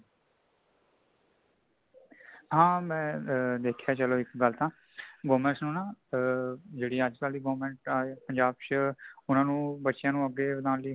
ਹਾਂ ਮੈਂ ਦੇਖਿਆਂ ਚੱਲੋ ਇੱਕ ਗੱਲ ਤਾਂ government ਨੂੰ ਨਾ ਆ ਜੇੜੀ ਅੱਜ ਕੱਲ ਦੀ government ਆਈਐ ਪੰਜਾਬ ਚ ਉਨ੍ਹਾਂਨੂੰ ਬੱਚਿਆਂ ਨੂੰ ਅੱਗੇ ਨਾਲ਼ ਹੀ